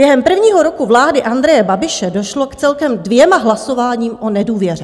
Během prvního roku vlády Andreje Babiše došlo k celkem dvěma hlasováním o nedůvěře.